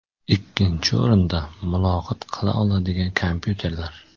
Ikkinchi o‘rinda muloqot qila oladigan kompyuterlar.